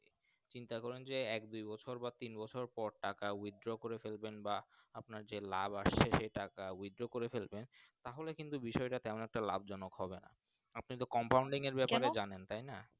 চিন্তা করেন এক দুই বছর বা তিন বছর পর টাকা Withdraw করে ফেলবেন বা আপনার যে লাভ আছে যে টাকা Withdraw করে ফেলবেন তাহাকে কিন্তু বিষয় টা তেমন একটা লাভ জনক হবে না আপনি তো Compounding এর ব্যাপার কেন জানেন তাই না।